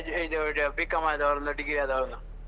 ಇದ ಇದು B.com ಆದವರನ್ನ degree ಆದವರನ್ನ.